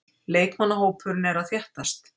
Leikmannahópurinn er að þéttast.